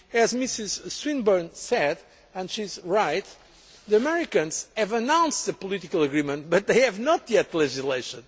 As Mrs Swinburne said, and she is right, the Americans have announced the political agreement but they have not yet legislated.